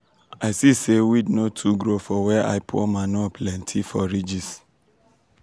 i see say weed no too grow for where i pour manure plenty for ridges.